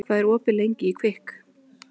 Þórlaug, hvað er opið lengi í Kvikk?